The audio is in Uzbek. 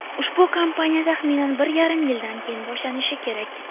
Ushbu kampaniya taxminan bir yarim yildan keyin boshlanishi kerak.